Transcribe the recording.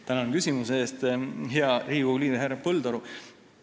Tänan küsimuse eest, hea Riigikogu liige härra Põldaru!